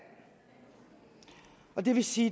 og det vil sige